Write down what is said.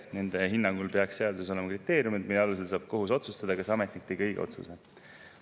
Nende hinnangul peaks seaduses olema kriteeriumid, mille alusel saab kohus otsustada, kas ametnik tegi õige otsuse.